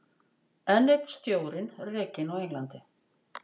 Enn einn stjórinn rekinn á Englandi